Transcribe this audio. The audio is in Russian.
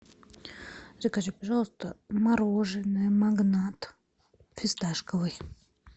закажи пожалуйста мороженое магнат фисташковый